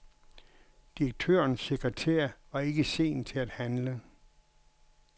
Direktørens sekretær var ikke sen til at handle.